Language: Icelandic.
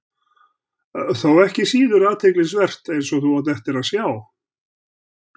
Þó ekki síður athyglisvert, eins og þú átt eftir að sjá.